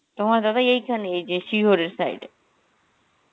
তোমার দাদা এইখান, এই যে শিয়রের side এ.